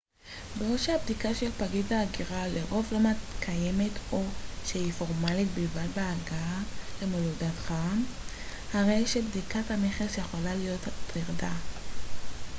בעוד שהבדיקה של פקיד ההגירה לרוב לא מתקיימת או שהיא פורמלית בלבד בהגעה למולדתך הרי שבדיקת המכס יכולה להיות טרדה